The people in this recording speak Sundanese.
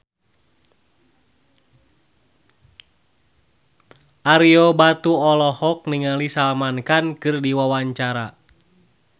Ario Batu olohok ningali Salman Khan keur diwawancara